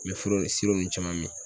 Mɛ foro ninnu caman min